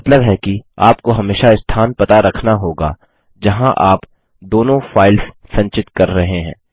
जिसका मतलब है कि आपको हमेशा स्थान पता रखना होगा जहाँ आप दोनों फाइल्स संचित कर रहे हैं